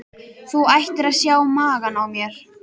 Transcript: Þú ættir að sjá magann á mér.